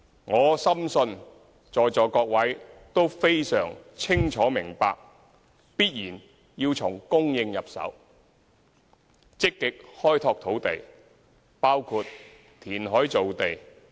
我深信在座各位都非常清楚明白，長遠的房屋政策必然要從供應入手，積極開拓土地，包括填海造地。